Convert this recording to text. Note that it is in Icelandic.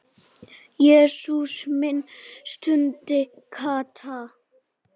Jesús minn stundi Kata.